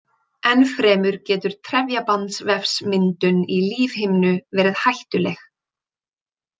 Enn fremur getur trefjabandvefsmyndun í lífhimnu verið hættuleg.